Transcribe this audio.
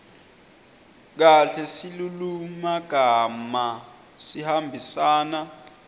kahle silulumagama sihambisana